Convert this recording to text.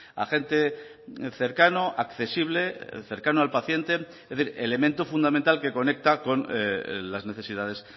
agente cercano accesible cercano al paciente es decir elemento fundamental que conecta con las necesidades